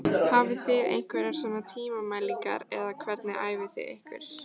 Hafið þið einhverjar svona tímamælingar eða hvernig æfið þið ykkur?